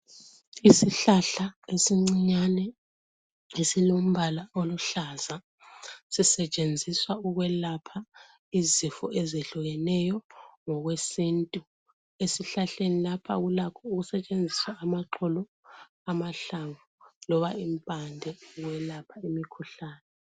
Isihlahla esincinyane lesilombala oluhlaza sisetshenziswa ukwelapha izifo ezehlukeneyo ngokwesintu .Esihlahleni lapha kulakho ukusetshenziswa amaxolo .amahlamvu loba impande ukwelapha imkhuhlane .